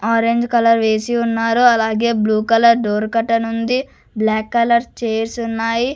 Orange colour వేసి ఉన్నారు అలాగే బ్లూ కలర్ డోర్ కర్టెన్ ఉంది బ్లాక్ కలర్ చైర్స్ ఉన్నాయి.